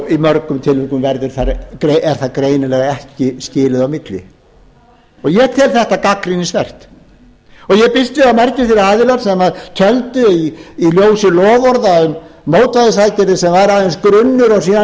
í mörgum tilvikum er þar greinilega ekki skilið á milli og ég tel þetta gagnrýnisvert ég býst við að margir þeir aðilar sem töldu í ljósi loforða um mótvægisaðgerðir sem var aðeins grunnur og síðan væri því fylgt eftir